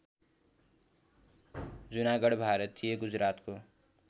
जुनागढ भारतीय गुजरातको